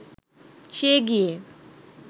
সে গিয়ে